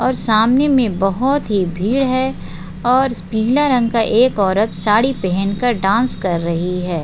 और सामने में बहुत ही भीड़ है और पीला रंग का एक औरत साड़ी पहनकर डान्स कर रही है।